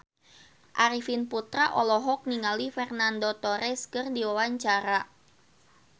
Arifin Putra olohok ningali Fernando Torres keur diwawancara